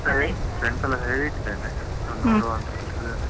ಸರಿ friends ಎಲ್ಲ friends ಎಲ್ಲ ಹೇಳಿಟ್ಟಿದ್ದೇನೆ. ಅವರು ನೋಡುವ ಅಂತ ಹೇಳ್ತಿದ್ದಾರೆ.